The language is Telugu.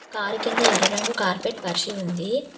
కారు కింద ఎర్ర రంగు కార్పెట్ పరిచి ఉంది.